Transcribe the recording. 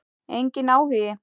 Enginn áhugi.